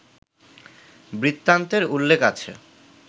বৃত্তান্তের উল্লেখ আছে